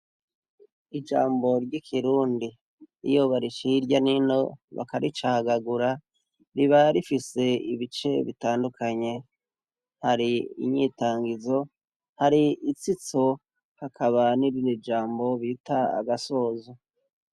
Ijambo ry' Ikirundi iyo bariciye irya n' ino bakaricagagura, riba rifise ibice bitandukanye. Hari inyitangizo, hari itsitso hakaba n' irindi jambo bita agasozo.